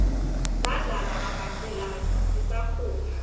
sadlala mabhacelaua sisakhula